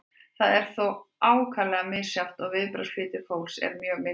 þetta er þó ákaflega misjafnt og viðbragðsflýtir fólks er mjög mismunandi